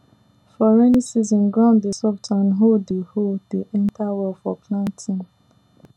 for rainy season ground dey soft and hoe dey hoe dey enter well for planting